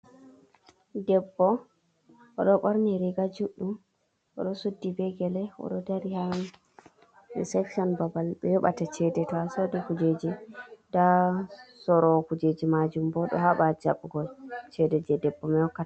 Debbo oɗo ɓorni riga juɗɗum oɗo suddi be gele oɗo dari ha resection babal ɓe yobata chede to ha sodi kujeji ɗa sorowo kujeji majum bo ɗo haba jabugo chede je debbo mai.